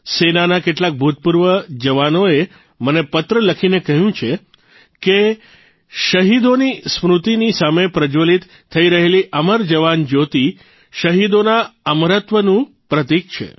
સેનાના કેટલાક ભૂતપૂર્વ જવાનોએ મને પત્ર લખીને કહ્યું છે કે શહીદોની સ્મૃતિની સામે પ્રજ્જવલિત થઇ રહેલી અમર જવાન જયોતિ શહીદોના અમરત્વનું પ્રતિક છે